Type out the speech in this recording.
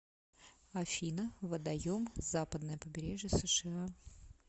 афина водоем западное побережье сша